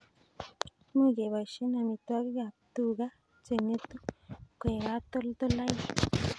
Much keboishe amitwogik ab tuga che ng'etu koek katoltolaik